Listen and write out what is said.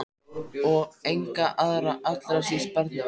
Og enga aðra- allra síst barnið okkar.